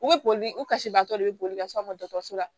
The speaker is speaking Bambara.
U bɛ boli u kasibaatɔ de bɛ boli ka s'an ma dɔgɔtɔrɔso la